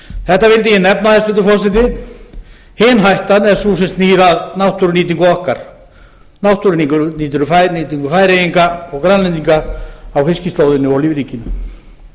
þetta vildi ég nefna hæstvirtur forseti hin hættan er sú sem snýr að náttúrunýtingu okkar náttúrunýtingu og fæðunýtingu færeyinga og grænlendinga á